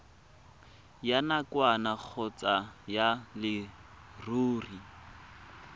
ya nakwana kgotsa ya leruri